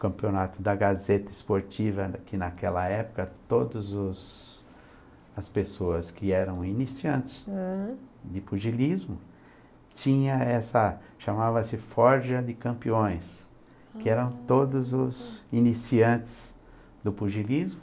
campeonato da Gazeta Esportiva, que naquela época, todas os as pessoas que eram iniciantes ãh, de pugilismo, tinha essa, chamava-se forja de campeões, ah... que eram todos os iniciantes do pugilismo,